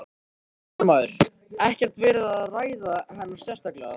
Fréttamaður: Ekkert verið að ræða hana sérstaklega þarna?